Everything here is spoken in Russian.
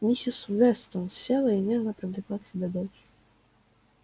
миссис вестон села и нежно привлекла к себе дочь